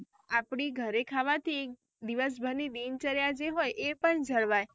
આપડી ઘરે ખાવાથી દિવસ ભર ની દિનચર્યા જે હોય એ પણ જળવાય